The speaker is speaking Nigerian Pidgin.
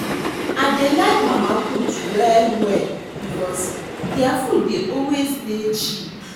I dey like mama-put well-well because their food dey always dey cheap.